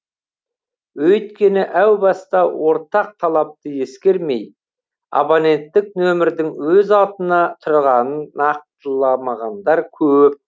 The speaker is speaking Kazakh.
өйткені әу баста ортақ талапты ескермей абоненттік нөмірдің өз атына тұрғанын нақтыламағандар көп